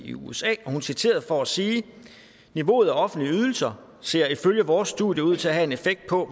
i usa og hun er citeret for at sige niveauet af offentlige ydelser ser ifølge vores studier ud til at have en effekt på